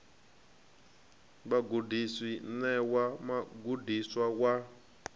vhagudiswa i ṋewa mugudiswa wa